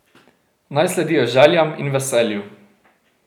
Naj sledijo željam in veselju.